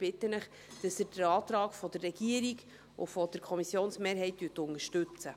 Ich bitte Sie, den Antrag der Regierung und der Kommissionsmehrheit zu unterstützen.